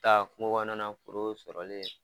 Taa kungo kɔnɔ na foro sɔrɔli ye